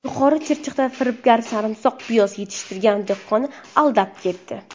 Yuqori Chirchiqda firibgar sarimsoq piyoz yetishtirgan dehqonni aldab ketdi.